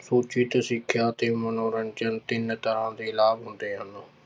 ਉੱਚਿਤ ਸਿੱਖਿਆ ਤੇ ਮਨੋਰੰਜਨ ਤਿੰਨ ਤਰ੍ਹਾਂ ਦੇ ਲਾਭ ਹੁੰਦੇ ਹਨ।